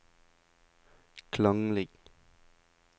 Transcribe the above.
klanglig